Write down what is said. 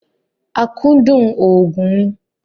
Akúndùn òògùn ni